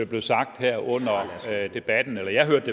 blev sagt her under debatten eller jeg hørte